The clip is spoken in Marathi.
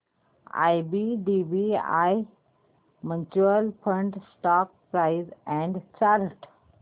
IDBI mutual fund stock price and chart